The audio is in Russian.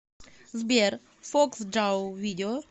сбер фоксджау видео